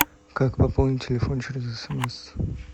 как пополнить телефон через смс